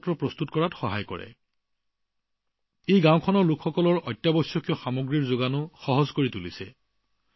ইয়াৰ ফলত বিভিন্ন জৰুৰীকালীন সেৱাই গাঁওখনৰ এইসকল লোকৰ ওচৰলৈ যোৱাটো সম্ভৱ হৈ উঠিছে